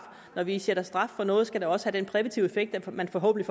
når vi sætter straf på noget skal det også have den præventive effekt at man forhåbentlig